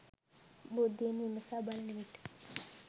බුද්ධියෙන් විමසා බලනවිට